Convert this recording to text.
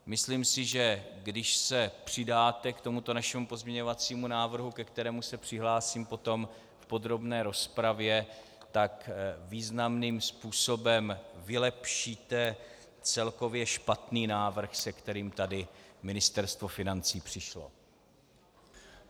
Myslím si, že když se přidáte k tomuto našemu pozměňovacímu návrhu, ke kterému se přihlásím potom v podrobné rozpravě, tak významným způsobem vylepšíte celkově špatný návrh, se kterým tady Ministerstvo financí přišlo.